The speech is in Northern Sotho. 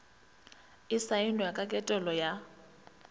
e saenwa ka ketelo ya